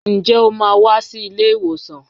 Ǹjẹ́ o máa wá sí ilé ìwòsàn?